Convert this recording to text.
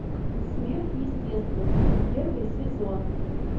сверхъестественное первый сезон